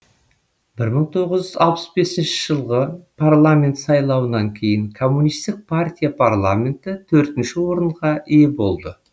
бір мың тоғыз жүз алпыс бесінші жылғы парламент сайлауынан кейін коммунистік партия парламенті төртінші орынға ие болды